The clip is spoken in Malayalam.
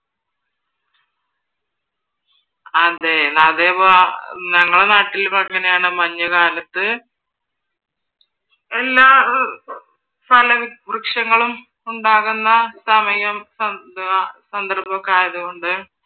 അത് അതിപ്പോ ഞങ്ങളുടെ നാട്ടിൽ അങ്ങനെയാണ് മഞ്ഞുകാലത്ത് എല്ലാ ഫല വൃക്ഷങ്ങളും ഉണ്ടാകുന്ന സമയവും സന്ദർഭമൊക്കെ ആയത് കൊണ്ട്